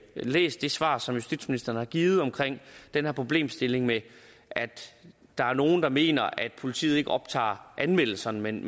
læst det svar som justitsministeren har givet om den her problemstilling med at der er nogle der mener at politiet ikke optager anmeldelserne men